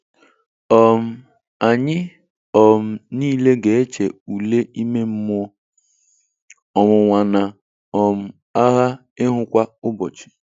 um Anyị um niile ga-eche ule ime mmụọ, ọnwụnwa, na um agha ihu kwa ụbọchị.